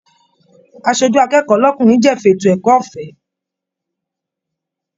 Aṣojú akẹ́kọ̀ọ́ l'ọkunrin jẹ́fà ètò ẹ̀kọ́ ọ̀fẹ́.